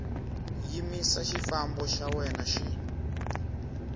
yimisa xifambo xa wena xi